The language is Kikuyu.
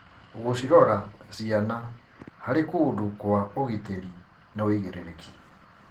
Gũcirora ciana harĩ kũndũ kwa ũgitĩri nĩ wĩigĩrĩrĩki.